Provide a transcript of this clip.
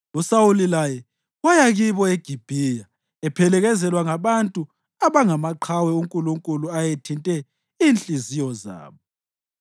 USawuli laye waya kibo eGibhiya ephelekezelwa ngabantu abangamaqhawe uNkulunkulu ayethinte inhliziyo zabo.